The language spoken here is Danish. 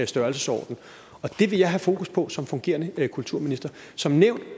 størrelsesorden og det vil jeg have fokus på som fungerende kulturminister som nævnt